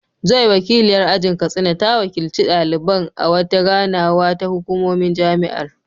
Joy, wakiliyar ajin Katsina, ta wakilci daliban a wata ganawa da hukumomin jami’ar.